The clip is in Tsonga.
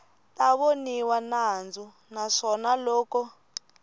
ta voniwa nandzu naswona loko